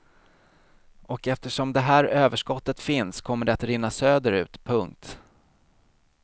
Och eftersom det är här överskottet finns kommer det att rinna söderut. punkt